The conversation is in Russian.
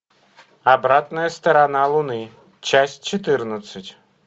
обратная сторона луны часть четырнадцать